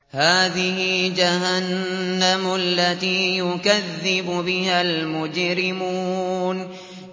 هَٰذِهِ جَهَنَّمُ الَّتِي يُكَذِّبُ بِهَا الْمُجْرِمُونَ